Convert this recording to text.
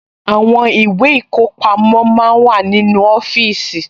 Àwọn ìwé ìkọpamọ́ máa ń wà nínú ọfíìsì